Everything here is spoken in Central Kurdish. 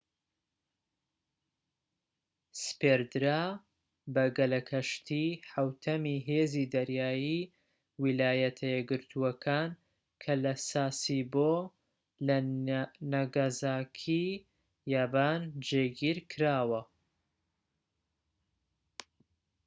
سپێردرا بە گەلەکەشتیی حەوتەمی هێزی دەریایی ویلایەتە یەکگرتوەکان کە لە ساسیبۆ لە نەگازاکیی یابان جێگیر کراوە